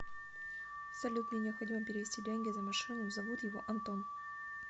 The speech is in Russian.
салют мне необходимо перевести деньги за машину зовут его антон